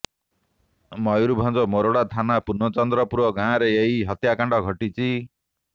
ମୟୁରଭଞ୍ଜ ମୋରଡ଼ା ଥାନା ପୂର୍ଣ୍ଣଚନ୍ଦ୍ରପୁର ଗାଁରେ ଏହି ହତ୍ୟାକାଣ୍ଡ ଘଟିଛି